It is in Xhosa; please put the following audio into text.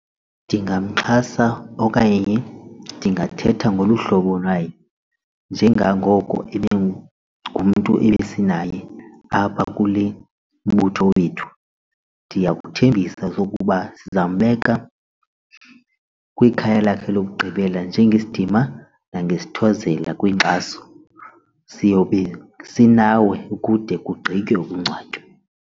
Ndingamxhasa okanye ndingathetha ngolu hlobo naye njengangoko ibingumntu esinaye apha kule mbutho wethu, ndiyakuthembisa sokuba sizambeka kwikhaya lakhe lokugqibela njengesidima nangesithozela kwinkxaso siyobe sinawe kude kugqitywe ukungcwatywa.